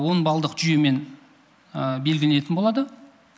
он балдық жүйемен белгіленетін болады